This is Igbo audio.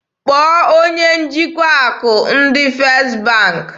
Kpọọ onye njikwa akụ ndị First bank!